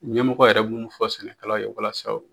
Ɲɛmɔgɔ yɛrɛ bɛ minnu fɔ sɛnɛkɛlaw ye walasa